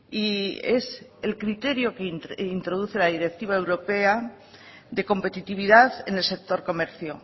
y es el criterio que introduce la directiva europea de competitividad en el sector comercio